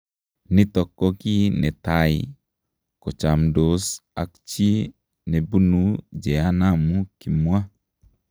Nitok ko ki netai kochamdoos ak chii nepinu jehanamu kimwa